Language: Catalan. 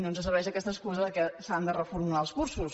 no ens serveix aquesta excusa que s’han de reformular els cursos